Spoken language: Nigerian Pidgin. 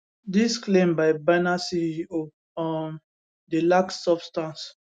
dis claim by binance ceo um dey lack substance